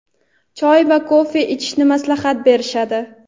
choy va kofe ichishni maslahat berishadi.